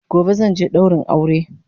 Gobe zanje daurin aure